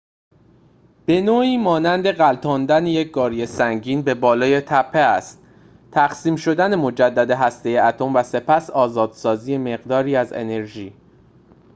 به‌نوعی مانند غلتاندن یک گاری سنگین به بالای تپه است تقسیم شدن مجدد هسته اتم و سپس آزادسازی مقداری از آن انرژی